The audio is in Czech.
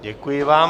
Děkuji vám.